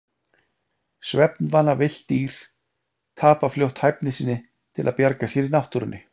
Svefnvana villt dýr tapa fljótt hæfni sinni til að bjarga sér í náttúrunni.